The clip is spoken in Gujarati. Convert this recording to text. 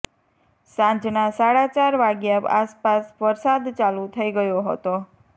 સાંજના સાડા ચાર વાગ્યા આસાપાસ વરસાદ ચાલુ થઈ ગયો હતો